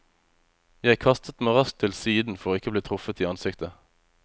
Jeg kastet meg raskt til siden for ikke å bli truffet i ansiktet.